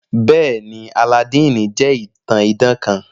Bẹẹni, Alladini jẹ itan idan kan.